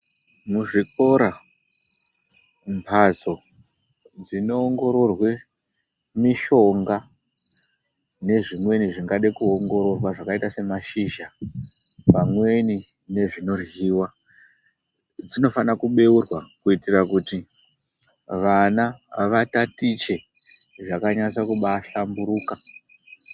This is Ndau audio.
Muzvikora mbatso dzinoongororwe mishonga nezvimweni zvingada kuongororwa zvakaita semashizha, pamweni nezvinoryiwa. Dzinofana kubeurwa kuitira kuti vana vatatiche zvakanyatsa kubaa hlamburuka.